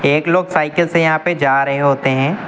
एक लोग साइकिल से यहां पे जा रहे होते हैं।